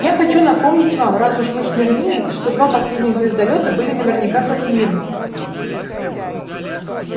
я хочу напомнить вам раз уж вы смирниец что два последних звездолёта были наверняка со смирно